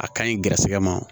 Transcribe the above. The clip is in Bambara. A ka ɲi gɛrɛsɛgɛ ma